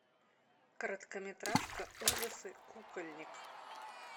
короткометражка ужасы кукольник